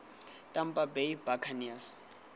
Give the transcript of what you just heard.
tampa bay buccaneers